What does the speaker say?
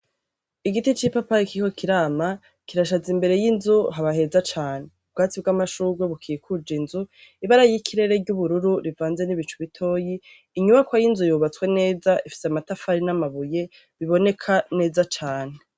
igiti c'ipapayi kikiriko kirama kirashaza imbere y'inzu hakabaheza cane ubwatsi bw'amashugwe bukikuja inzu ibara y'ikirere ry'ubururu rivanze n'ibicu bitoyi inyubakwa y'inzu yubatswe neza ifite amatafari n'amabuye biboneka neza cane